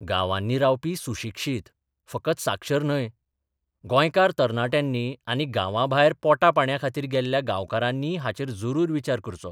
गांवांनी रावपी सुशिक्षीत फकत साक्षर न्हय गोंयकार तरणाट्यांनी आनी गांबांभायर पोटापाणयाखातीर गेल्ल्या गांवकारांनीय हाचेर जरूर विचार करचो.